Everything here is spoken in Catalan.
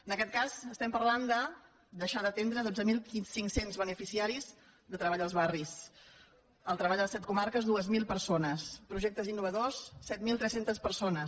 en aquest cas estem parlant de deixar d’atendre dotze mil cinc cents beneficiaris de treball als barris el treball a set comarques dos mil persones projectes innovadors set mil tres cents persones